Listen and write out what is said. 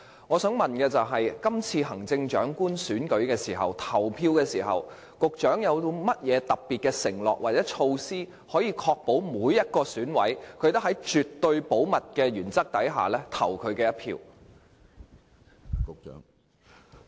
我想問，今次行政長官選舉的投票，局長有甚麼特別承諾或措施，可確保每一名選委也能夠在絕對保密的原則下投票？